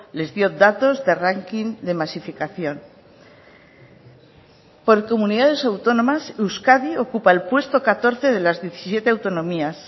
les dio datos de ranking de masificación por comunidades autónomas euskadi ocupa el puesto catorce de las diecisiete autonomías